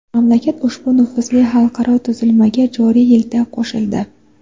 Mamlakat ushbu nufuzli xalqaro tuzilmaga joriy yilda qo‘shildi.